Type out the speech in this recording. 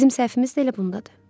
Bizim səhvimiz də elə bundadır.